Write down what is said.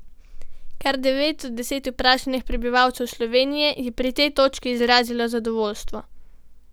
Kar devet od deset vprašanih prebivalcev Slovenije je pri tej točki izrazilo zadovoljstvo.